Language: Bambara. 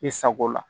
I sago la